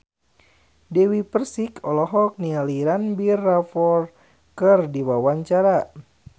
Dewi Persik olohok ningali Ranbir Kapoor keur diwawancara